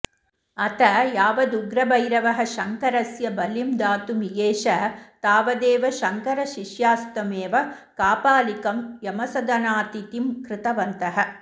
अथ यावदुग्रभैरवः शङ्करस्य बलिं दातुमियेष तावदेव शङ्करशिष्यास्तमेव कापालिकं यमसदनातिथिं कृतवन्तः